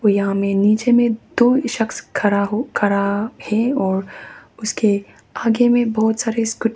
और यहां में नीचे में दो सख्श खड़ा हो खड़ा है और उसके आगे में बहुत सारे स्कूटी --